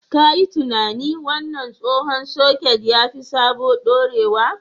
Ka yi tunanin! Wannan tsohon soket ya fi sabon dorewa.